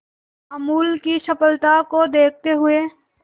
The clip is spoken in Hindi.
अमूल की सफलता को देखते हुए